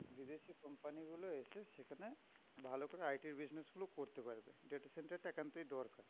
Company গুলো এসে সেখানে ভালো করে IT র business গুলো করতে পারবে। data center টা একান্তই দরকার।